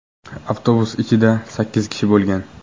Avtobus ichida sakkiz kishi bo‘lgan.